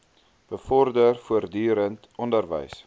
bevorder voortdurend onderwys